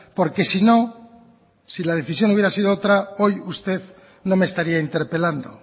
porque si no si la decisión hubiera sido otra hoy usted no me estaría interpelando